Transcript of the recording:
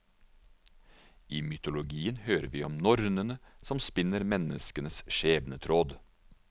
I mytologien hører vi om nornene som spinner menneskenes skjebnetråd.